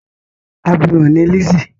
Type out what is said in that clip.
Abirùn ni Lizzy.